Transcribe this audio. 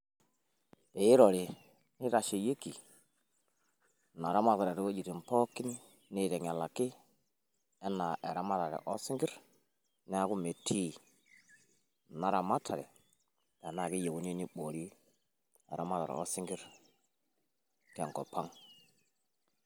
Pee irori neitasheyieki ina ramatare too wuejitin pookin neiteng`elaki enaa eramatare oo sinkirr niaku imetii ina ramatare tenaa keyieuni neiboori eramatare oo sinkirr te nkop ang.